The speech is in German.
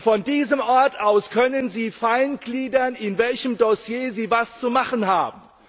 Von diesem Ort aus können sie fein gliedern, in welchem Dossier sie was zu machen haben.